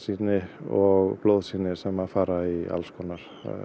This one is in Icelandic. og blóðsýni sem fara í